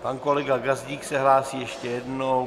Pan kolega Gazdík se hlásí ještě jednou.